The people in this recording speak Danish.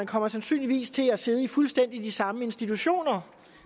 kommer sandsynligvis til at sidde i de fuldstændig samme institutioner